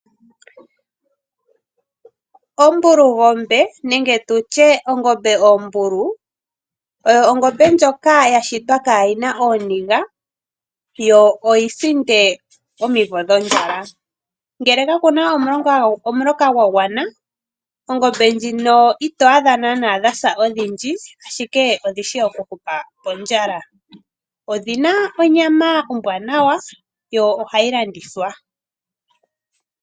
Ombulungombe nenge tu tye ombulu oyo ongombe ndjoka ya shitwa kaayina ooniga, yo oyi sinde omwimvo dhondjala, ngele ka kuna omuloka gwagwana ongombe ndjino i to adha dha sa odhindji ashike odhi shi oku hupa pondjala, odhina onyama ombwaanawa yo ohayi landithwa.